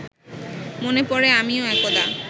মনে পড়ে আমিও একদা